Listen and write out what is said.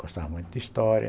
Gostava muito de história.